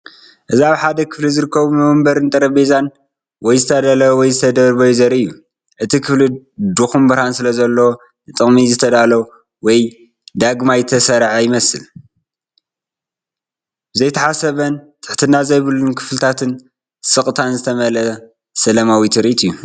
እዚ ኣብ ሓደ ክፍሊ ዝርከቡ መንበርን ጠረጴዛን ወይ ዝተዳለዉ ወይ ዝተደርበዩ ዘርኢ እዩ። እቲ ክፍሊ ድኹም ብርሃን ስለዘለዎ፡ ንጥቕሚ ዝዳሎ ወይ ዳግማይ ዝተሰርዐ ይመስል። ብዘይተሓሰበን ትሕትና ዘይብሉን ክፍልታትን ስቕታን ዝተመልአ ሰላማዊ ትርኢት እዩ።